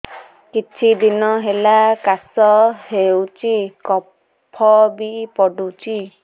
କିଛି ଦିନହେଲା କାଶ ହେଉଛି କଫ ବି ପଡୁଛି